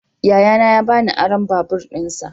Yayana ya ba ni aron babur dinsa.